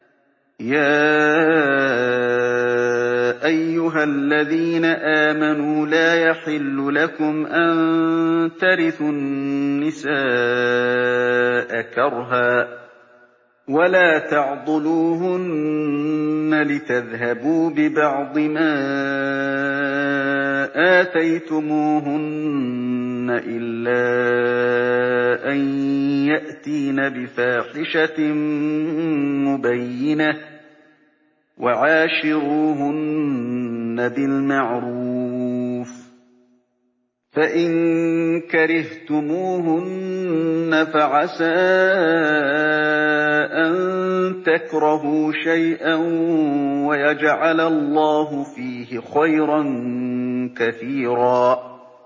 يَا أَيُّهَا الَّذِينَ آمَنُوا لَا يَحِلُّ لَكُمْ أَن تَرِثُوا النِّسَاءَ كَرْهًا ۖ وَلَا تَعْضُلُوهُنَّ لِتَذْهَبُوا بِبَعْضِ مَا آتَيْتُمُوهُنَّ إِلَّا أَن يَأْتِينَ بِفَاحِشَةٍ مُّبَيِّنَةٍ ۚ وَعَاشِرُوهُنَّ بِالْمَعْرُوفِ ۚ فَإِن كَرِهْتُمُوهُنَّ فَعَسَىٰ أَن تَكْرَهُوا شَيْئًا وَيَجْعَلَ اللَّهُ فِيهِ خَيْرًا كَثِيرًا